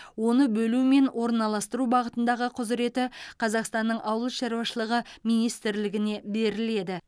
оны бөлу мен орналастыру бағытындағы құзыреті қазақстанның ауыл шаруашылығы министрлігіне беріледі